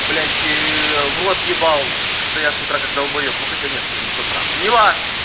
блять в рот ебал что-то я с утра как долбоёб но хотя нет это не с утра неважно